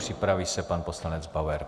Připraví se pan poslanec Bauer.